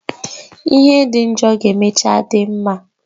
Ihe dị njọ ga emechaa dị mma